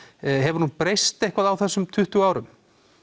hefur hún breyst eitthvað á þessum tuttugu árum